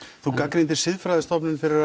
þú gagnrýndir siðfræðisstofnun fyrir